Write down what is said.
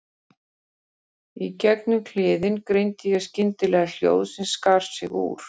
Í gegnum kliðinn greindi ég skyndilega hljóð sem skar sig úr.